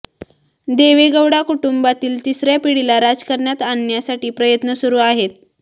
देवेगौडा कुटुंबातील तिसऱया पिढीला राजकारणात आणण्यासाठी प्रयत्न सुरू आहेत